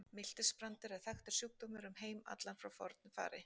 Miltisbrandur er þekktur sjúkdómur um heim allan frá fornu fari.